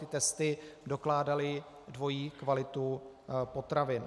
Tyto testy dokládaly dvojí kvalitu potravin.